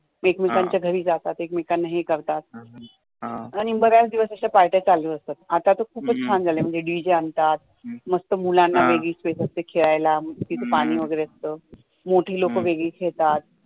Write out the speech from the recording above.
एकमेकांच्या घरी जातात एकमेकांना हे करतात आणी बऱ्याच दिवस पार्ट्या चालू असतात आता तर खूप छान झालय म्हणजे DJ आणतात मस्त मुलांना वेगळी स्पेस असते खेळायला तिथे पाणी वगैरे असत मोठी लोकं वेगळी खेळतात